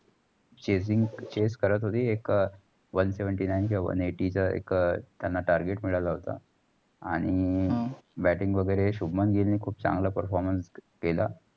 chasing chase करत होती. एक one Seventy Nine किंवा one eighty च एक त्याना target मिळाल होता. आणि batting वगरे शुभमन गिल नि खूप चागला performance केला.